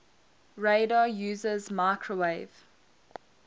radar uses microwave